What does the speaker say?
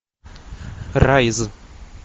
райз